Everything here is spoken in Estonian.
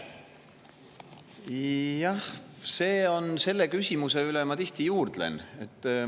Jah, selle küsimuse üle ma tihti juurdlen.